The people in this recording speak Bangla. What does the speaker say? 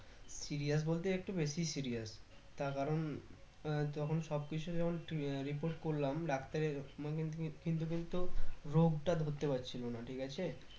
serious বলতে একটু বেশি serious তার কারণ আহ তখন সব কিছু যখন report করলাম ডাক্তারের কিন্তু কিন্তু রোগটা ধরতে পারছিলো না ঠিক আছে